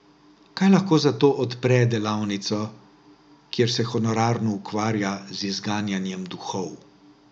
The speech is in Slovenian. Kaj lahko zato odpre delavnico, kjer se honorarno ukvarja z izganjanjem duhov.